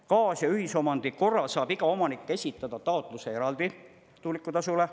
Kaas- ja ühisomandi korral saab iga omanik esitada taotluse eraldi tuulikutasule.